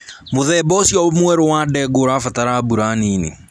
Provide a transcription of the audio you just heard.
Mũthemba ũcio mwerũ wa ndengũ ũrabatara mbura nini